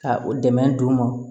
Ka u dɛmɛ d'u ma